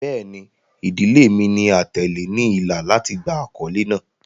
Bẹẹni, idile mi ni atẹle ni ila lati gba akọle naa